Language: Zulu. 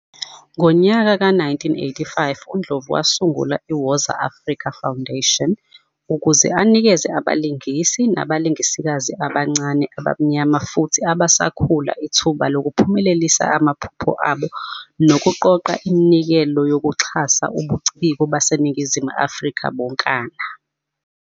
Ngonyaka ka-1985, uNdlovu wasungula iWoza Afrika Foundation ukuze azonikeza abalingisi nabalingisikazi abancane, abamnyama futhi abasakhula ithuba lokuphumelelisa amaphupho abo nokuqoqa iminikelo yokuxhasa ubuciko baseNingizimu Afrika bonkana.